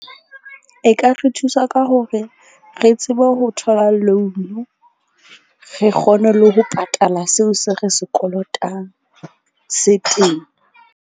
E ka re thusa ka hore re tsebe ho thola loan-u, re kgone le ho patala seo se re se kolotang se .